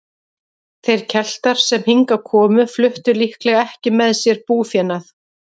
Þeir Keltar sem hingað komu fluttu líklega ekki með sér búfénað.